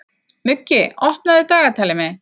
Muggi, opnaðu dagatalið mitt.